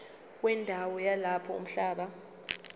wendawo yalapho umhlaba